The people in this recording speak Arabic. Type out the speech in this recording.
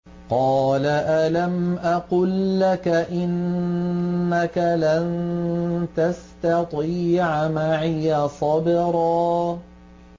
۞ قَالَ أَلَمْ أَقُل لَّكَ إِنَّكَ لَن تَسْتَطِيعَ مَعِيَ صَبْرًا